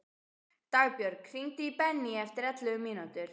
Dagbjörg, hringdu í Benný eftir ellefu mínútur.